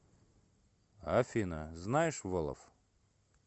афина знаешь волоф